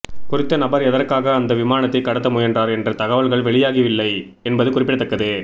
குறித்த நபர் எதற்காக அந்த விமானத்தைக் கடத்த முயன்றார் என்ற தகவல்கள் வெளியாகவில்லை என்பது குறிப்பிடத்தக்கது